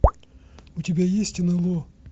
у тебя есть нло